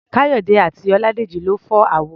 Káyọ̀dé àti Ọládèjì lọ fọ́ àwo.